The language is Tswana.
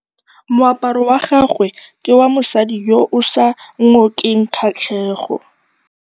Moaparô wa gagwe ke wa mosadi yo o sa ngôkeng kgatlhegô.